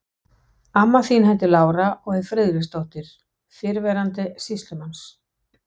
Amma þín heitir Lára og er Friðriksdóttir, fyrrverandi sýslumanns.